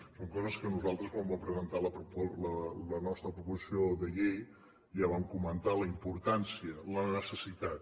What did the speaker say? són coses de què nosaltres quan vam presentar la nostra proposició de llei en vam comentar la importància la necessitat